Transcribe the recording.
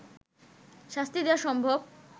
শাস্তি দেয়া সম্ভব